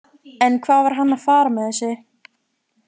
En hvað var hann að fara með þessu?